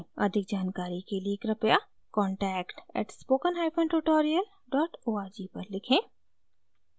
अधिक जानकारी के लिए कृपया contact @spokentutorial org पर लिखें